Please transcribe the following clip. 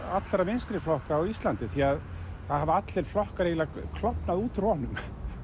allra vinstriflokka á Íslandi því það hafa allir flokkar eiginlega klofnað út úr honum